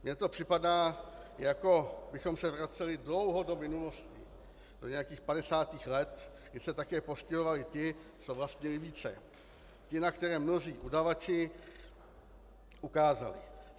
Mně to připadá, jako bychom se vraceli dlouho do minulosti, do nějakých 50. let, kdy se také postihovali ti, co vlastnili více, ti, na které mnozí udavači ukázali.